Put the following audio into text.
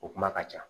O kuma ka ca